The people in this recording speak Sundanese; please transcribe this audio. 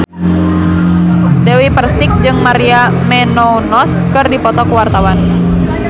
Dewi Persik jeung Maria Menounos keur dipoto ku wartawan